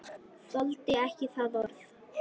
Þoldi ekki það orð.